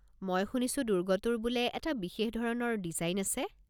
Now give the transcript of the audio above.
মই শুনিছো দু্ৰ্গটোৰ বোলে এটা বিশেষ ধৰণৰ ডিজাইন আছে।